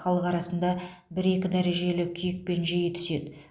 халық арасында бір екі дәрежелі күйікпен жиі түседі